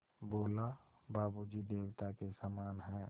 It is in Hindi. बोला बाबू जी देवता के समान हैं